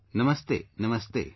Namaste, Namaste